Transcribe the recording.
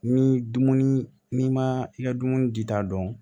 Ni dumuni n'i ma i ka dumuni di ta dɔn